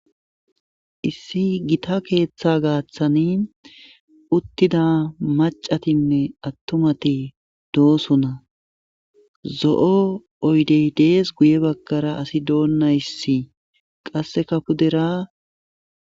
issi gita keeththa gaaththani uttida macatinne attumati doosona zo7o oydey dees guye baggara asi doonnayssi qasse ka kudera